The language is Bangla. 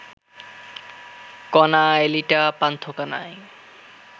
কনা, এলিটা, পান্থ কানাই